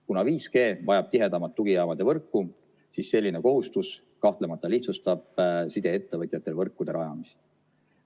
Kuna 5G vajab tihedamat tugijaamade võrku, siis selline kohustus kahtlemata lihtsustab sideettevõtjatel võrkude rajamist.